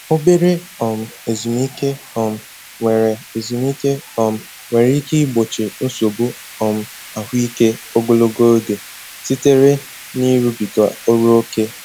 Obere um ezumike um nwere ezumike um nwere ike igbochi nsogbu um ahụike ogologo oge sitere n'ịrụbiga ọrụ ókè.